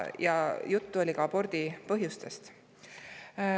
Juttu oli ka abordi põhjustest.